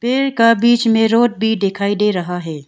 नहर का बीच में रोड भी दिखाई दे रहा है ।